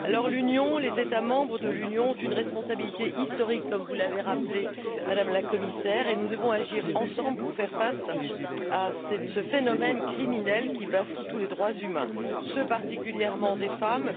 L'Union, les États membres de l'Union ont une responsabilité historique, comme vous l'avez rappelé, Madame la Commissaire, et nous devons agir ensemble pour faire face à ce phénomène criminel qui bafoue tous les droits humains, particulièrement ceux des femmes.